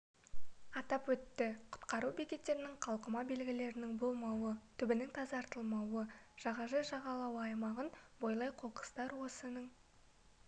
атап өтті құтқару бекеттерінің қалқыма белгілерінің болмауы түбінің тазартылмауы жағажай жағалауы аймағын бойлай қоқыстар осының